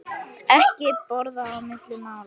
Ekki borða á milli mála.